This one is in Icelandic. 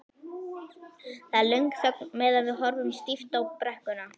Það er löng þögn meðan við horfum stíft á brekkuna.